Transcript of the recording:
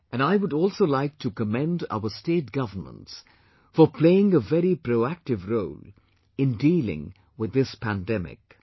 And I would also like to commend our state governments for playing a very proactive role in dealing with this pandemic